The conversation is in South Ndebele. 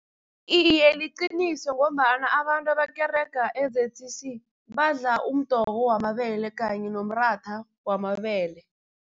Iye, liqiniso ngombana abantu abakerega e-Z_C_C, badla umdoko wamabele kanye nomratha wamabele.